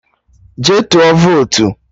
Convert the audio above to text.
Jee tụọ votu!